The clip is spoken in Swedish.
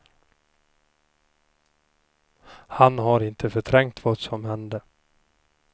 Han har inte förträngt vad som hände.